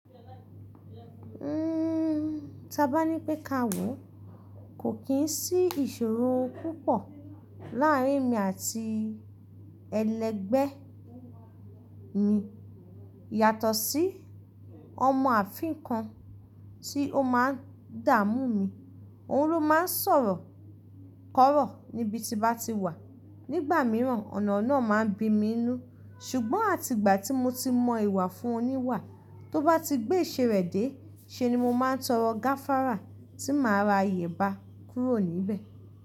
Ta bá ní pé káàwọ̀ kò kín sí ìṣòro púpọ̀ láàrín emi àti ẹlẹgbẹ́ mi yàtọ̀ sí ọmọ ààfin kan tí ó máa ń dààmú mi. Òun ló máa ń sọ̀rọ̀ kọ̀rọ̀ níbi tí bá ti wà. Nígbà mìíràn ọ̀nà náà máa ń bí mi inú. Ṣùgbọ́n àti ìgbà tí mo ti mọ ìwà fún un ní wà, tó bá ti gbé ìṣe rẹ̀ dé, ṣe ni mo máa ń tọrọ gáfárà tí màá ra iyẹ̀ba kúrò níbẹ̀